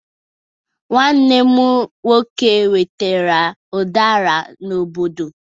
Nwanne m nwoke wetere udara n'obodo.